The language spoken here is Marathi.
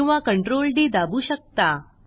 किंवा CTRL डी दाबु शकता